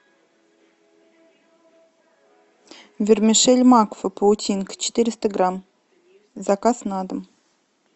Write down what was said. вермишель макфа паутинка четыреста грамм заказ на дом